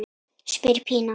spyr Pína.